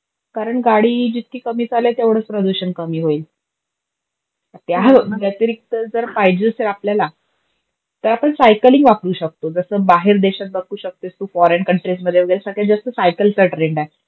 करण, गाडी जितकी कमी चालेल तेवढच प्रदूषण कमी होईल. त्याव्यतिरिक्त जर पाहिजेच हे आपल्याला तर आपण सायकलिंग वापरू शकतो, जस बाहेर देशात बगू शकतेस तु फॉरेन कंट्रीजमध्ये, ते सगळ्यात जास्त सायकलचा ट्रेंड आहे.